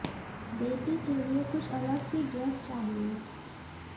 बेटी के लिए कुछ अलग सी ड्रेस चाहिए